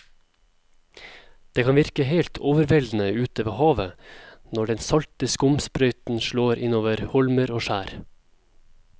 Det kan virke helt overveldende ute ved havet når den salte skumsprøyten slår innover holmer og skjær.